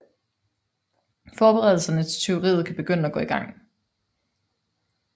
Forberedelserne til tyveriet kan begynde at gå i gang